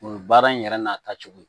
O baara in yɛrɛ n'a taacogo